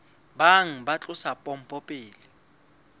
bang ba tlosa pompo pele